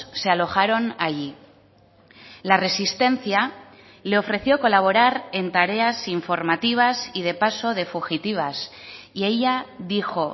se alojaron allí la resistencia le ofreció colaborar en tareas informativas y de paso de fugitivas y ella dijo